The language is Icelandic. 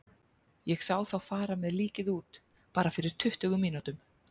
Ég sá þá fara með líkið út, bara fyrir tuttugu mínútum.